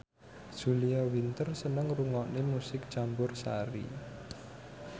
Julia Winter seneng ngrungokne musik campursari